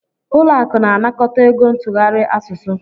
Ụlọ akụ na-anakọta ego ntụgharị asụsụ.